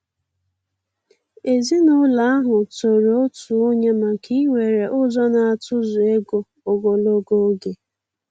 Èzìnụlọ ahụ tòrò òtù ònye maka íwere ụzọ n'atụ̀zụ̀ égò ogologo oge.